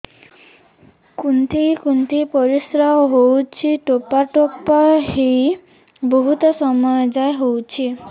କୁନ୍ଥେଇ କୁନ୍ଥେଇ ପରିଶ୍ରା ହଉଛି ଠୋପା ଠୋପା ହେଇ ବହୁତ ସମୟ ଯାଏ ହଉଛି